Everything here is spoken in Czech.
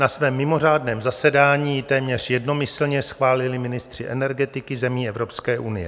Na svém mimořádném zasedání ji téměř jednomyslně schválili ministři energetiky zemí Evropské unie.